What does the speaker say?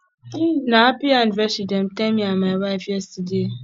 na happy anniversary dem tell me and my wife yesterday